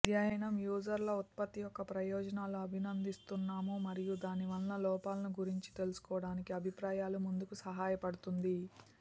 అధ్యయనం యూజర్లు ఉత్పత్తి యొక్క ప్రయోజనాలు అభినందిస్తున్నాము మరియు దాని వల్ల లోపాలను గురించి తెలుసుకోవడానికి అభిప్రాయాలు ముందుకు సహాయపడుతుంది